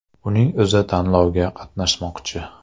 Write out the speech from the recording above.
Uning o‘zi tanlovda qatnashmoqchi.